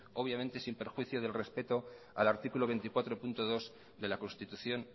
obviamente sin perjuicio del respeto al artículo veinticuatro punto dos de la constitución